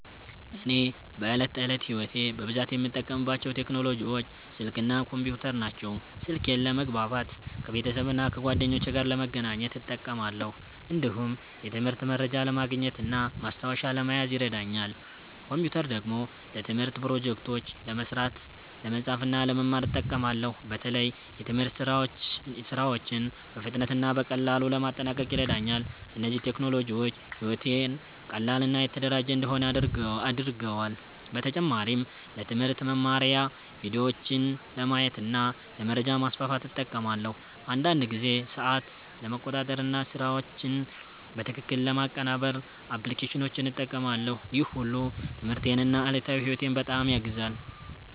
እኔ በዕለት ተዕለት ሕይወቴ በብዛት የምጠቀምባቸው ቴክኖሎጂዎች ስልክ እና ኮምፒውተር ናቸው። ስልኬን ለመግባባት ከቤተሰብና ከጓደኞቼ ጋር ለመገናኘት እጠቀማለሁ። እንዲሁም የትምህርት መረጃ ለማግኘት እና ማስታወሻ ለመያዝ ይረዳኛል። ኮምፒውተር ደግሞ ለትምህርት ፕሮጀክቶች ለመስራት፣ ለመጻፍ እና ለመማር እጠቀማለሁ። በተለይ የትምህርት ሥራዎችን በፍጥነት እና በቀላሉ ለማጠናቀቅ ይረዳኛል። እነዚህ ቴክኖሎጂዎች ሕይወቴን ቀላል እና የተደራጀ እንዲሆን አድርገዋል። በተጨማሪም ለትምህርት መማሪያ ቪዲዮዎችን ለማየት እና ለመረጃ ማስፋፋት እጠቀማለሁ። አንዳንድ ጊዜ ሰዓት ለመቆጣጠር እና ስራዎችን በትክክል ለማቀናበር አፕሊኬሽኖችን እጠቀማለሁ። ይህ ሁሉ ትምህርቴን እና ዕለታዊ ሕይወቴን በጣም ያግዛል።